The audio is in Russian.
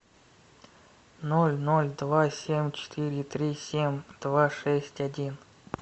ноль ноль два семь четыре три семь два шесть один